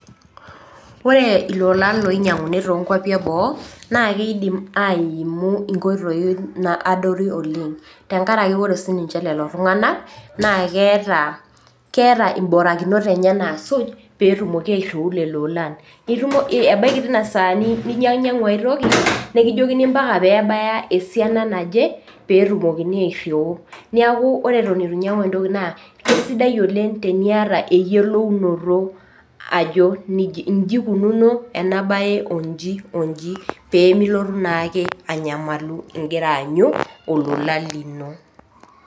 Ore ilolan oinyang'uni too inkwapi e boo naa keidim aimu inkoitoi naadori oleng', tenkaraki ore sii niche lelo tung'ana naa keata imbarakinot enye naasuju, pee etumoki airiuu lelo plan. Ebaiki teina saa nainyang'ua ai toki nekijokini ompaka nebaya esiana naje pee etumokini airiu. Neaku ore ewuen eitu inyang'u toki naa kesidai oleng' peyou niata eyolounoto ajo injo eikununo ena baye onji onji pee milotu naake anyamalu ake ingira aanyu olola lino.